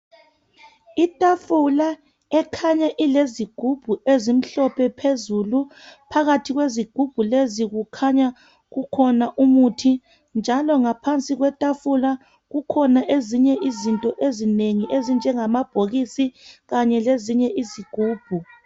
Itafula ekhanya ilezigubhu ezimhlophe phezulu phakathi kwezigubhu lezi kukhanya kukhona umuthi njalo ngaphansi kwetafula kukhona ezinye izinto ezinengi ezinjengamabhokisi kanye lezinye izigubhu